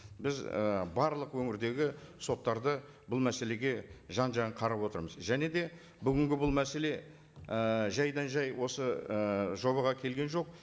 біз і барлық өңірдегі соттарды бұл мәселеге жан жағын қарап отырмыз және де бүгінгі бұл мәселе ііі жайдан жай осы і жобаға келген жоқ